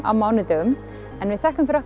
á mánudögum við þökkum fyrir